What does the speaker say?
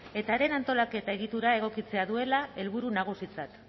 eta haren antolaketa egitura egokitzea duela helburu nagusitzat